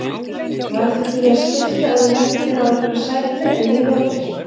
Værir þú til í að skipta ef þú lendir á einhverri sætri en ég ljótri?